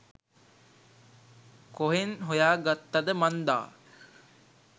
කොහෙන් හොයා ගත්තද මන්දා